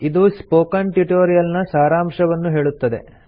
ಇದು spoken tutorial ನ ಸಾರಾಂಶವನ್ನು ಹೇಳುತ್ತದೆ